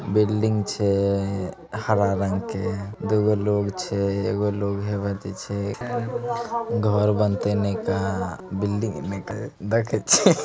बिलडिंग छे हरा रंग के दुइ लोग छे एक लोग हेवात छे घर बनते निका। बिलडिंग निका देख छे।